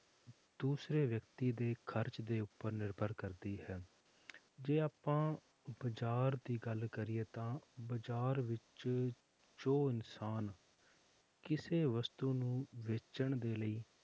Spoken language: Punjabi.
ਦੂਸਰੇ ਵਿਅਕਤੀ ਦੇ ਖ਼ਰਚ ਉੱਪਰ ਨਿਰਭਰ ਕਰਦੀ ਹੈ ਜੇ ਆਪਾਂ ਬਾਜ਼ਾਰ ਦੀ ਗੱਲ ਕਰੀਏ ਤਾਂ ਬਾਜ਼ਾਰ ਵਿੱਚ ਜੋ ਇਨਸਾਨ ਕਿਸੇ ਵਸਤੂ ਨੂੰ ਵੇਚਣ ਦੇ ਲਈ